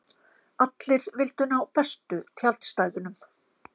Allir vildu ná bestu tjaldstæðunum.